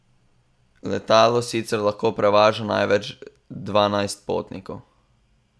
Letalo sicer lahko prevaža največ dvanajst potnikov.